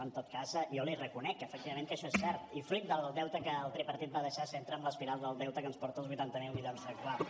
en tot cas jo li reconec efectivament que això és cert i fruit del deute que el tripartit va deixar s’entra en l’espiral del deute que ens porta als vuitanta miler milions actuals